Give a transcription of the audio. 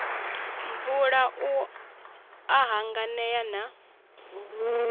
mvula u a hanganea na